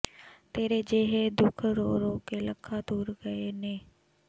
ਤੇਰੇ ਜੇਹੇ ਦੁੱਖ ਰੋ ਰੋ ਲੱਖਾਂ ਤੁਰ ਗਏ ਨੇ